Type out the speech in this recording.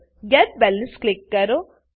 gate balance get balance click કરો